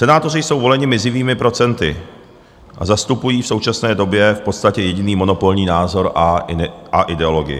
Senátoři jsou voleni mizivými procenty a zastupují v současné době v podstatě jediný monopolní názor a ideologii.